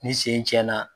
Ni sen cɛn na